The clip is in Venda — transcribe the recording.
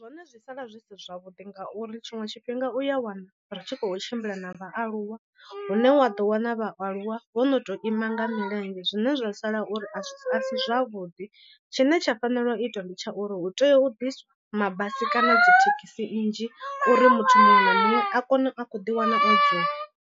Zwone zwi sala zwi si zwavhuḓi ngauri tshiṅwe tshifhinga u ya wana ri tshi khou tshimbila na vhaaluwa hune wa ḓo wana vhaaluwa vho no to ima nga milenzhe zwine zwa sala uri a a si zwavhuḓi tshine tsha fanela u itwa ndi tsha uri hu tea u ḓiswa mabasi kana dzi thekhisi nnzhi uri muthu muṅwe na muṅwe a kone a khou ḓiwana o dzula.